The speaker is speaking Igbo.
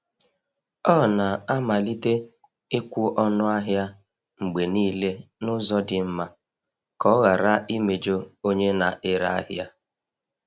Ọ na-amalite ịkwụ ọnụ ahịa mgbe niile n’ụzọ dị mma ka ọ ghara imejọ onye na-ere ahịa.